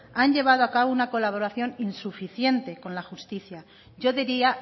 han llevado a cabo una colaboración insuficiente con la justicia yo diría